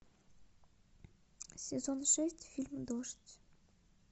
сезон шесть фильм дождь